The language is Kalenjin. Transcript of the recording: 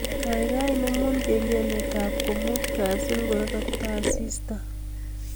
Gaigai inemu kengeletab komuut Kasi ngororoktoi assistant